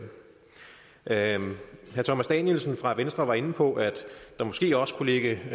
herre thomas danielsen fra venstre var inde på at der måske også kunne ligge